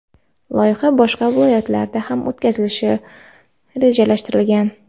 Loyiha boshqa viloyatlarda ham o‘tkazilishi rejalashtirilgan.